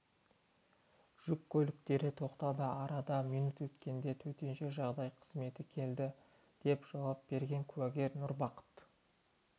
жүк көліктері тоқтады арада минут өткенде төтенше жағдай қызметі келді деп жауап берген куәгер нұрбақыт